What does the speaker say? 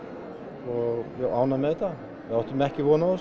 og ánægð með þetta við áttum ekki von á þessu